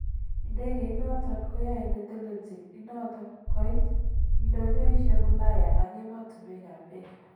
Idegeit noton koyoe netelelchin inoton koit idonyoishek Ulaya ak emotunwek kap Asia.